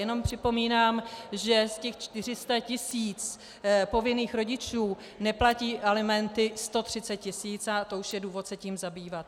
Jenom připomínám, že z těch 400 tisíc povinných rodičů neplatí alimenty 130 tisíc, a to už je důvod se tím zabývat.